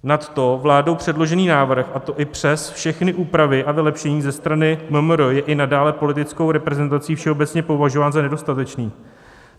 Nadto vládou předložený návrh, a to i přes všechny úpravy a vylepšení ze strany MMR, je i nadále politickou reprezentací všeobecně považován za nedostatečný.